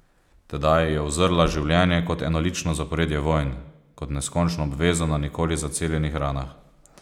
Tedaj je uzrla življenje kot enolično zaporedje vojn, kot neskončno obvezo na nikoli zaceljenih ranah.